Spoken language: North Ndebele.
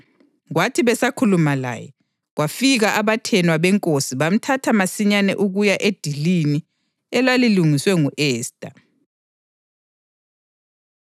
Kwathi besakhuluma laye, kwafika abathenwa benkosi bamthatha masinyane ukuya edilini elalilungiswe ngu-Esta.